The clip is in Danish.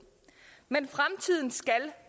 men fremtiden skal